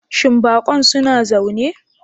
Shin bakon suna zaune?